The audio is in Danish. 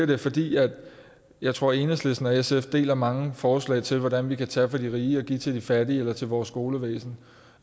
det fordi jeg jeg tror at enhedslisten og sf deler mange forslag til hvordan vi kan tage fra de rige og give til de fattige eller til vores skolevæsen